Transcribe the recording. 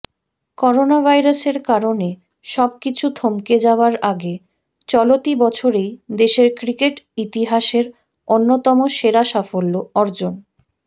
করোনাভাইরাসের কারণে সবকিছু থমকে যাওয়ার আগে চলতি বছরেই দেশের ক্রিকেট ইতিহাসের অন্যতম সেরা সাফল্য অর্জন